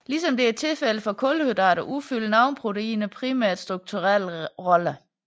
Ligesom det er tilfældet for kulhydrater udfylder nogle proteiner primært strukturelle roller